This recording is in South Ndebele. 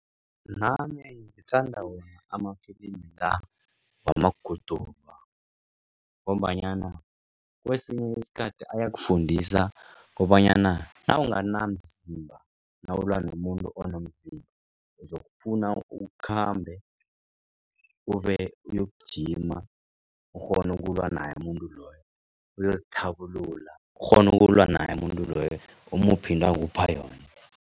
Nami ngithanda wona amafilimi la wamaguduva. Ngombanyana kwesinye isikhathi ayakufundisa kobanyana nawunganamzimba nawulwa nomuntu onomzimba uzokufuna ukhambe ube uyokujima ukghone ukulwa naye umuntu loyo. Uyozithabulula ukghone ukulwa naye umuntu loyo umuphe into akupha yona.